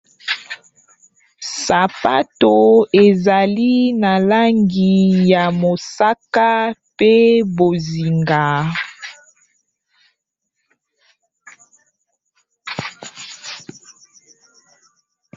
Sapato ezali na langi ya mosaka pe bozinga.